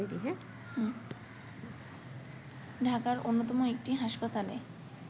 ঢাকার অন্যতম একটি হাসপাতালে